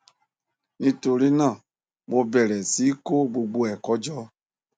nítorí náà mo bẹrẹ sí í kó gbogbo ẹkọ jọ